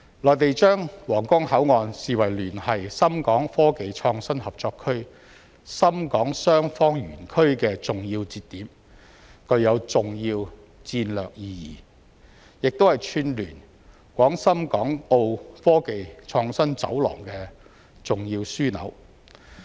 內地將皇崗口岸視為聯繫深港科技創新合作區深港雙方園區的重要節點，具有重要戰略意義，亦是串聯廣深港澳科技創新走廊的重要樞紐。